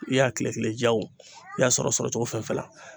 I y'a kile kile ja o i y'a sɔrɔ sɔrɔ cogo fɛn fɛn la